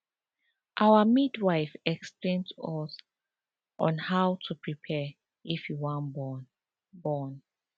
our midwife explain to us on how to prepare if you wan born born